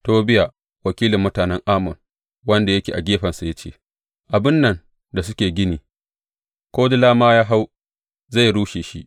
Tobiya wakilin mutanen Ammon wanda yake a gefensa ya ce, Abin nan da suke gini, ko dila ma ya hau, zai rushe shi!